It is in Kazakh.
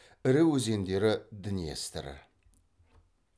ірі өзендері днестр